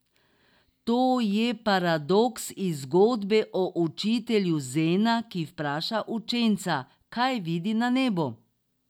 To je paradoks iz zgodbe o učitelju zena, ki vpraša učenca, kaj vidi na nebu.